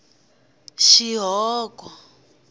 xihoko